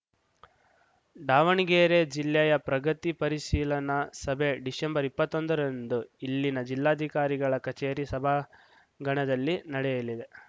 ದಾವಣಗೆರೆ ಜಿಲ್ಲೆಯ ಪ್ರಗತಿ ಪರಿಶೀಲನಾ ಸಭೆ ಡಿಸೆಂಬರ್ ಇಪ್ಪತ್ತೊಂದರಂದು ಇಲ್ಲಿನ ಜಿಲ್ಲಾಧಿಕಾರಿಗಳ ಕಚೇರಿ ಸಭಾಂಗಣದಲ್ಲಿ ನಡೆಯಲಿದೆ